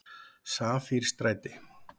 Safírstræti